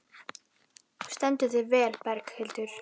Þú stendur þig vel, Berghildur!